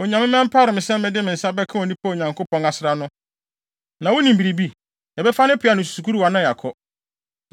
Onyame ma ɛmpare me sɛ mede me nsa bɛka onipa a Onyankopɔn asra no. Na wunim biribi? Yɛbɛfa ne peaw ne ne sukuruwa na yɛakɔ.”